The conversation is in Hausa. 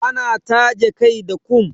Ana taje kai da kum.